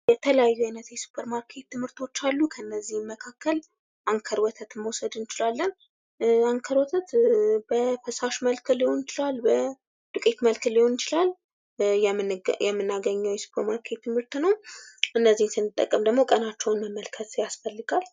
የተለያዩ አይነት የሱፐር ማርኬት ምርቶች አሉ ከእነዚያም ምክክር አንከር ወተት መውሰድ እንችላለን አንከር ወተት በፈሳሽ መልክ ሊሆን ይችላል በዱቄት መልክ ሊሆን ይችላል የምናገኘው የሱፐር ማርኬት ምርት ነው። እነዚህን ስንጠቀም ደግሞ ቀናቸውን መመልከት ያስፈልጋል።